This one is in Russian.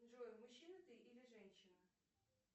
джой мужчина ты или женщина